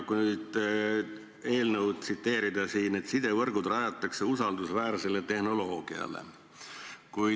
Kui teie eelnõu siin tsiteerida, siis rajatakse sidevõrgud usaldusväärsele tehnoloogiale.